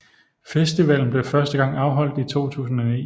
Festivalen blev første gang afholdt i 2009